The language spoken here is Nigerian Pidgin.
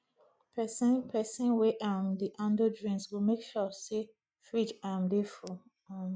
pesin pesin wey um dey handle drinks go make sure say fridge um dey full um